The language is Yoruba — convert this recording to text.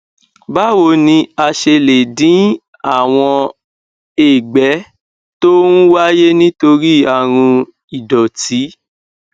báwo ni a ṣe lè dín àwọn ègbẹ tó ń wáyé nítorí àrùn ìdòtí